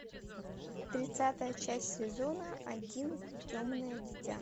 тридцатая часть сезона один темное дитя